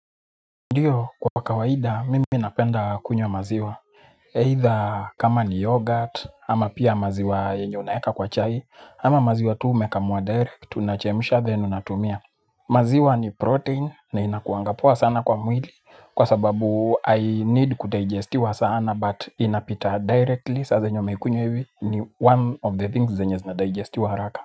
Ndiyo, kwa kawaida, mimi napenda kunywa maziwa. Aitha kama ni yoghurt ama pia maziwa yenye unaeka kwa chai ama maziwa ambayo umekamua direct unachemsha then unakula. Maziwa ni protein, na inakuwanga poa sana kwa mwili, kwa sababu hai need kudigestiwa sana, but inapita directly, saa zenye umeikunywa hivi, ni one of the things zenye zinadigestiwa haraka.